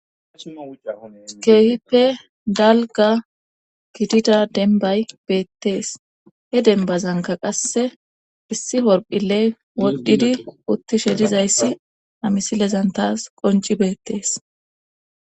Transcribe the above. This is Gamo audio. keehippe dalga gidida denbay beettees he denbazanka qasse issi horphile wodhdhidi uttishe dizayssi ha misilezan taas qonci beettees